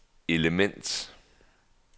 element